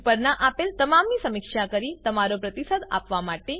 ઉપરનાં આપેલ તમામની સમીક્ષા કરી તમારો પ્રતિસાદ આપવા માટે